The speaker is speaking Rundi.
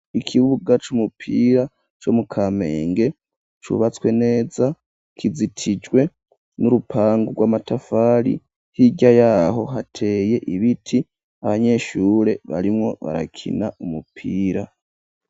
Ikibuga c'umupira co mu kamenge cubatswe neza kizitijwe n'urupangu rw'amatafari hirya yaho hateye ibiti abanyeshure barimwo barakina umupira.